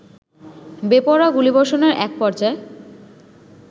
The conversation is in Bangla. বেপরোয়া গুলিবষর্ণের এক পর্যায়ে